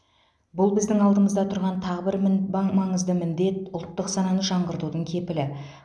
бұл біздің алдымызда тұрған тағы бір мін баң маң маңызды міндет ұлттық сананы жаңғыртудың кепілі